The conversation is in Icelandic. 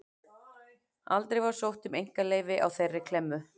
Aldrei var sótt um einkaleyfi á þeirri klemmu.